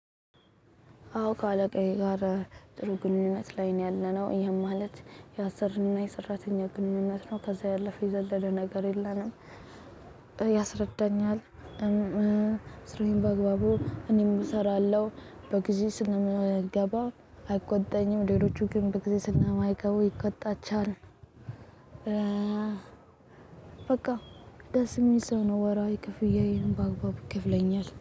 አዎ ከአለቃዬ ጋር ጥሩ ግንኙነት ላይ ነው ያለነው ይሄም ማለት የአሰሪ እና የሰራተኛ ግንኙነት ነው ከዛ ያለፈ የዘለለ ነገር የለንም። ያስረዳኛል። ስራዬን በአግባቡ እኔም እሰራለሁ በጊዜ ስለምገባ አይቆጣኝም። ሌሎቹ ግን በጊዜ ስለማይገቡ ይቆጣቿል። በቃ ደስ የሚል ሰው ነው። ወራዊ ክፍያዬን በአግባቡ ይከፍለኛል